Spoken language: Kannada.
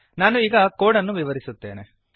ನಾನು ಈಗ ಕೋಡ್ ಅನ್ನು ವಿವರಿಸುತ್ತೇನೆ